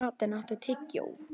Atena, áttu tyggjó?